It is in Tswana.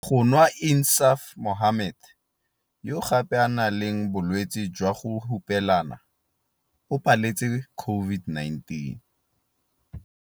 Go nwa Insaaf Mohammed, yo gape a nang le bolwetse jwa go hupelana, o paletse COVID-19.